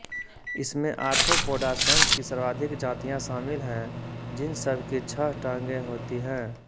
इसमें आर्थ्रोपोडा संघ की सर्वाधिक जातियाँ शामिल हैं जिन सब की छह टांगें होती हैं